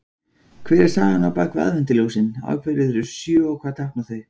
Hver er sagan bak við aðventuljósin, af hverju eru þau sjö og hvað tákna þau?